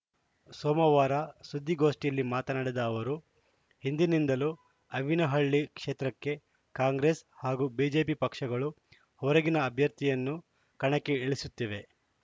ಸೋಮವಾರ ಸುದ್ದಿಗೋಷ್ಠಿಯಲ್ಲಿ ಮಾತನಾಡಿದ ಅವರು ಹಿಂದಿನಿಂದಲೂ ಆವಿನಹಳ್ಳಿ ಕ್ಷೇತ್ರಕ್ಕೆ ಕಾಂಗ್ರೆಸ್‌ ಹಾಗೂ ಬಿಜೆಪಿ ಪಕ್ಷಗಳು ಹೊರಗಿನ ಅಭ್ಯರ್ಥಿಯನ್ನು ಕಣಕ್ಕೆ ಇಳಿಸುತ್ತಿವೆ